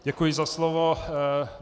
Děkuji, za slovo.